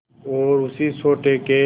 और उसी सोटे के